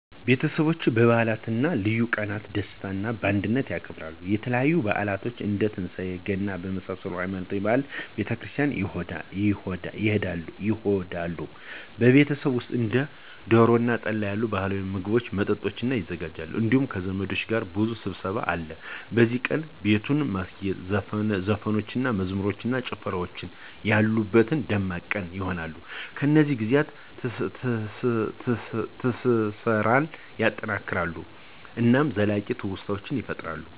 ቤተሰቦች በዓላትን እና ልዩ ቀናቶችን በደስታ እና በአንድነት ያከብራሉ። የተለያዩ በዓላቶችን እንደ ትንሳኤ እና ገና በመሳሰሉት ሃይማኖታዊ በዓላት ቤተ ክርስቲያን ይሆዳሉ። በቤት ውሰጥም እንደ ዶሮ እና ጠላ ያሉ ባህላዊ ምግቦችን እና መጠጦች ይዘጋጃሉ እንዲሁም ከዘመዶች ጋር ብዙ ሰብሰብ አለ። በዚህ ቀን, ቤቱን ማስጌጥ, ዘፈኖችን እና መዝሙሮች እና ጨፍራወች ያሉበት ደማቅ ቀን ይሆነል። እነዚህ ጊዜያት ትስሰራን ያጠናክራሉ እናም ዘላቂ ትውስታዎችን ይፈጥራሉ።